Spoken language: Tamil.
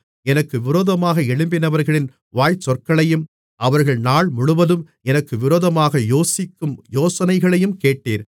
எனக்கு விரோதமாக எழும்பினவர்களின் வாய்ச்சொற்களையும் அவர்கள் நாள்முழுவதும் எனக்கு விரோதமாக யோசிக்கும் யோசனைகளையும் கேட்டீர்